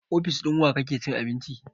A ofis ɗin wa kake cin abinci?